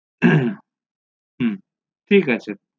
হু ঠিক আছে